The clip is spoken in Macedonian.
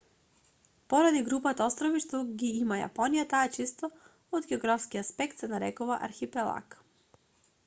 поради групата острови што ги има јапонија таа често од географски аспект се нарекува архипелаг